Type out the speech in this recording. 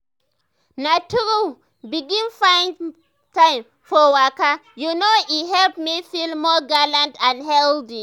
na true as i begin find time for waka you know e help me feel more gallant and healthy.